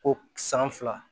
Ko san fila